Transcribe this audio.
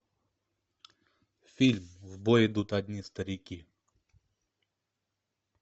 фильм в бой идут одни старики